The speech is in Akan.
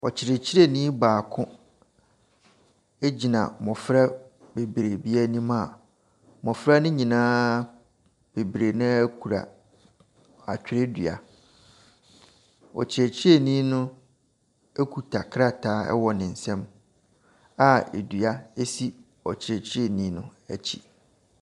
Ɔkyerɛkyerɛnii baako egyina mmɔfra bebree bi ɛnim a mmɔfra no nyinaa bebree naa kura atwerɛdua. Ɔkyerɛkyerɛnii no ekuta krataa wɔ ne nsam a edua esi ɔkyerɛkyerɛnii no ɛkyi.